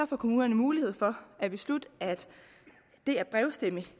får kommunerne mulighed for at beslutte at det at brevstemme